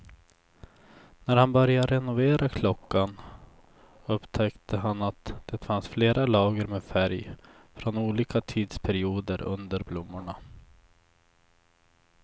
När han började renovera klockan upptäckte han att det fanns flera lager med färg från olika tidsperioder under blommorna.